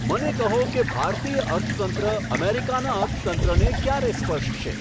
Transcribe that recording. મને કહો કે ભારતીય અર્થતંત્ર અમેરિકાના અર્થતંત્રને ક્યારે સ્પર્શશે